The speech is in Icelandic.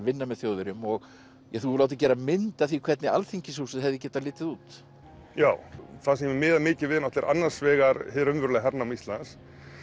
vinna með Þjóðverjum og þú hefur látið gera mynd af því hvernig Alþingishúsið hefði getað litið út já það sem ég miða mikið við er annars vegar hernám Íslands